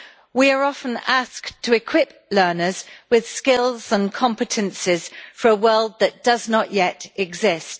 We are often asked to equip learners with skills and competences for a world that does not yet exist.